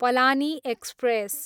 Palani express